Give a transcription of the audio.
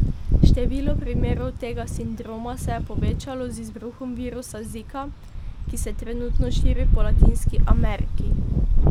Število primerov tega sindroma se je povečalo z izbruhom virusa zika, ki se trenutno širi po Latinski Ameriki.